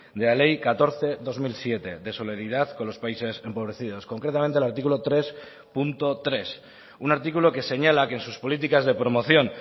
de la ley catorce barra dos mil siete de solidaridad con los países empobrecidos concretamente al título tres punto tres un artículo que señala que en sus políticas de promoción